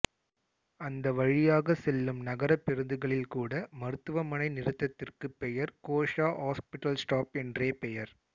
அந்த வழியாக செல்லும் நகர பேருந்துகளில் கூட மருத்துவமனை நிறுத்தத்திற்கு பெயர் கோஷா ஹாஸ்பிடல் ஸ்டாப் என்றே பெயர்